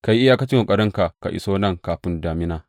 Ka yi iyakacin ƙoƙarinka ka iso nan kafin damina.